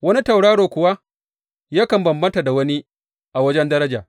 Wani tauraro kuwa yakan bambanta da wani a wajen daraja.